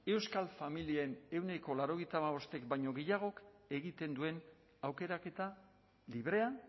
euskal familien ehuneko laurogeita hamabostek baino gehiagok egiten duen aukeraketa librea